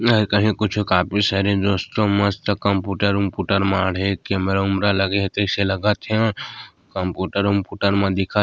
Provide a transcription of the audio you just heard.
कहु कुछु काफी सारे दोस्त मस्त कंप्यूटर मर्ढे केमेरा लगे हे जैसे लागत हे कंप्यूटर मन दिखत --